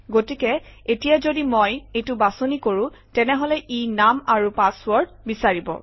গতিকে এতিয়া যদি মই এইটো বাছনি কৰোঁ তেনেহলে ই নাম আৰু পাছৱৰ্ড বিচাৰিব